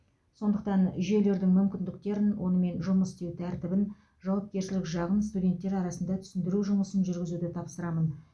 сондықтан жүйелердің мүмкіндіктерін онымен жұмыс істеу тәртібін жауапкершілік жағын студенттер арасында түсіндіру жұмысын жүргізуді тапсырамын